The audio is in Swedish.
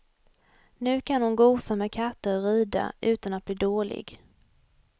Nu kan hon gosa med katter och rida utan att bli dålig.